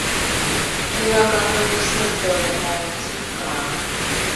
кино как мы весну делали найди ка